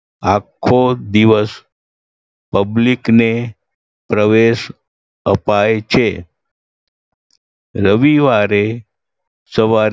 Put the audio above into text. આખો દિવસ public ને પ્રવેશ અપાય છે. રવિવારે સવારે